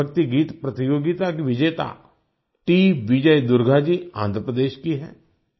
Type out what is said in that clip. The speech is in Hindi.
देशभक्ति गीत प्रतियोगिता की विजेताटी विजय दुर्गा जी आन्ध्र प्रदेश की हैं